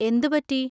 എന്ത് പറ്റി?